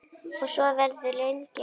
Og svo verður lengi enn.